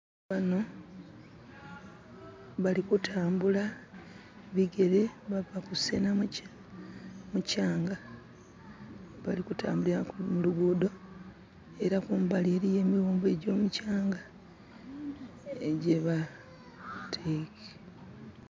Bano bali kutambula bigere bava kusenha mukyanga. Bali kutambulila mu luguudho era kumbali eliyo emighumbo egy'omukyanga...<skip>..